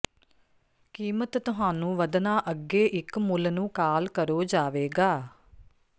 ਕੀਮਤ ਤੁਹਾਨੂੰ ਵਧਣਾ ਅੱਗੇ ਇੱਕ ਮੁੱਲ ਨੂੰ ਕਾਲ ਕਰੋ ਜਾਵੇਗਾ